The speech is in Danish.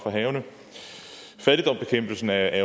havene fattigdomsbekæmpelsen er